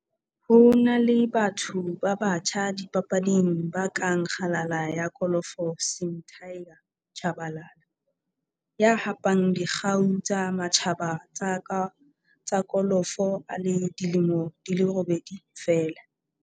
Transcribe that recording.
Ho na le batho ba batjha dipapading ba kang kgalala ya kolofo Sim 'Tiger' Tshabalala, ya hapang dikgau tsa matjhaba tsa kolofo a le dilemo di robedi feela.